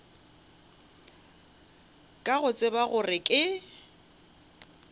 ka go tseba gore ke